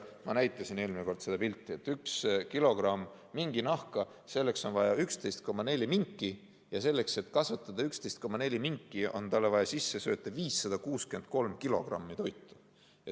Ma näitasin eelmine kord üht pilti: et saada üks kilogramm minginahka, on vaja 11,4 minki, ja selleks, et kasvatada 11,4 minki, on neile vaja sisse sööta 563 kilogrammi toitu.